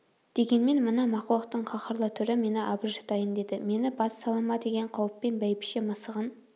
дегенмен мына мақұлықтың қаһарлы түрі мені абыржытайын деді мені бас сала ма деген қауіппен бәйбіше мысығын